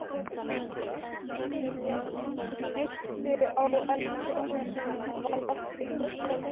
Hún hnykkti á en prjóninum varð ekki þokað lengra.